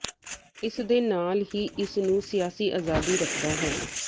ਇਸ ਦੇ ਨਾਲ ਹੀ ਇਸ ਨੂੰ ਸਿਆਸੀ ਆਜ਼ਾਦੀ ਰੱਖਦਾ ਹੈ